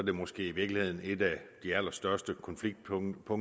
er måske i virkeligheden et af de allerstørste konfliktpunkter